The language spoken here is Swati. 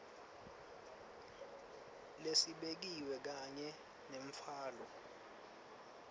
lesibekiwe kanye nemtfwalo